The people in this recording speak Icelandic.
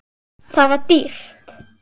Það var dýrt.